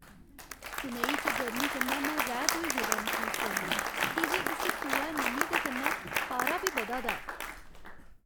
चेन्नई च गर्मी कन्नै में रैह्त होई गेदा मसूस करनां की जे इस सोहै नमी दे कन्नै पारा बी बधा दा ऐ।